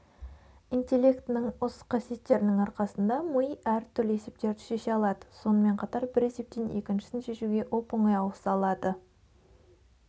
интеллектінің осы қасиеттерінің арқасында ми әртүрлі есептерді шеше алады сонымен қатар бір есептен екіншісін шешуге оп-оңай ауыса алды